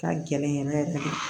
Ka gɛlɛn yɛrɛ yɛrɛ yɛrɛ de